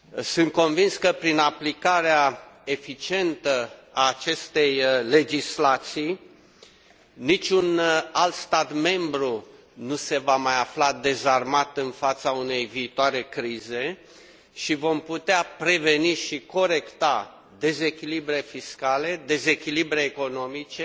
Sunt convins că, prin aplicarea eficientă a acestei legislații, niciun alt stat membru nu se va mai afla dezarmat în fața unei viitoare crize și vom putea preveni și corecta dezechilibre fiscale, dezechilibre economice,